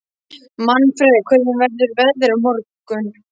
Manfreð, hvernig verður veðrið á morgun?